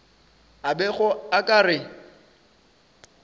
a bego a ka re